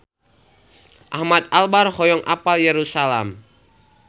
Ahmad Albar hoyong apal Yerusalam